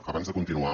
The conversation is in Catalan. abans de continuar